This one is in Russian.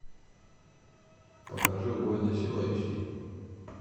покажи убойная сила эйч ди